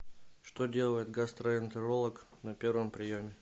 что делает гастроэнтеролог на первом приеме